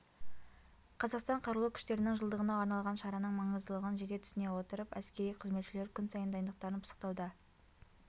қазақстан қарулы күштерінің жылдығына арналған шараның маңыздылығын жете түсіне отырып әскери қызметшілер күн сайын дайындықтарын пысықтауда